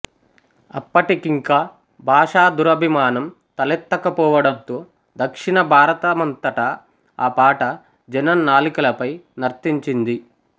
అప్పటికింకా భాషాదురభిమానం తలెత్తక పోవడంతో దక్షిణభారతమంతటా ఆ పాట జనం నాలుకలపై నర్తించింది